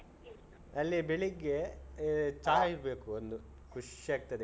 ಅಲ್ಲಿ ಬೆಳಿಗ್ಗೆ ಚಾ ಇರ್ಬೇಕು ಖುಷ್ ಆಗ್ತದೆ.